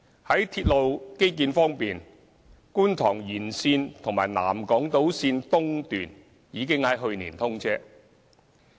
在鐵路基建方面，觀塘線延線和南港島線已在去年通車。